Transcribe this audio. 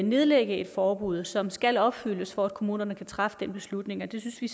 nedlægge et forbud som skal opfyldes for at kommunerne kan træffe den beslutning og det synes vi